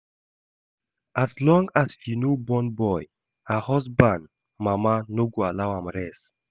As long as she never born boy, her husband mama no go allow am rest